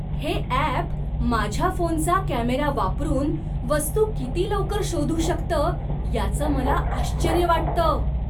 हे अॅप माझ्या फोनचा कॅमेरा वापरून वस्तू किती लवकर शोधू शकतं याचं मला आश्चर्य वाटतं.